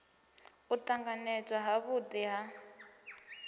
u tanganywa ha vhudi ha